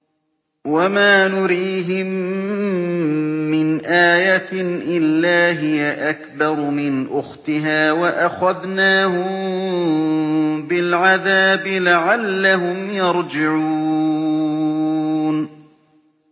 وَمَا نُرِيهِم مِّنْ آيَةٍ إِلَّا هِيَ أَكْبَرُ مِنْ أُخْتِهَا ۖ وَأَخَذْنَاهُم بِالْعَذَابِ لَعَلَّهُمْ يَرْجِعُونَ